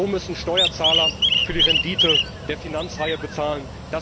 So müssen Steuerzahler für die Rendite der Finanzhaie bezahlen.